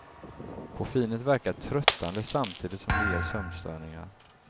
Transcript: Koffeinet verkar tröttande, samtidigt som det ger sömnstörningar.